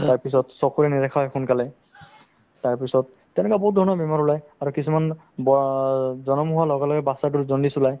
তাৰপিছত চকুৰে নেদেখা হয় সোনকালে তাৰপিছত তেনেকুৱা বহুত ধৰণৰ বেমাৰ ওলাই আৰু কিছুমান ব জনম হোৱাৰ লগে লগে batches তোৰ jaundice ওলায়